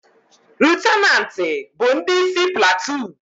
Lutenanti bu ndi isi platoon